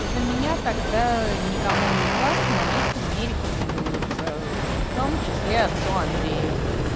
за меня тогда никому из вас молиться не рекомендуется в том числе отцу андрею